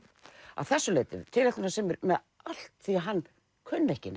að þessu leyti tilætlunarsamur um allt því hann kunni ekki